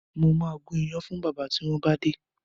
Mo ma gún iyán fún bábà tí wọ́n bá dé